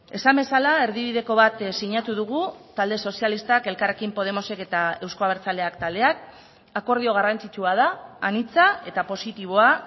esan bezala erdibideko bat sinatu dugu talde sozialistak elkarrekin podemosek eta euzko abertzaleak taldeak akordio garrantzitsua da anitza eta positiboa